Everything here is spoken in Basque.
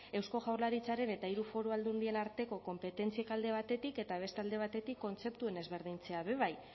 eusko jaurlaritzaren eta hiru foru aldundien arteko konpetentziak alde batetik eta beste alde batetik kontzeptuen ezberdintzea bebai